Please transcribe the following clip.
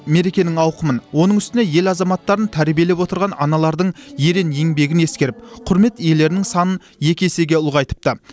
мерекенің ауқымын оның үстіне ел азаматтарын тәрбиелеп отырған аналардың ерен еңбегін ескеріп құрмет иелерінің санын екі есеге ұлғайтыпты